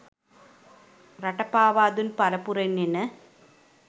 රට පාවා දුන් පරපුරෙන් එන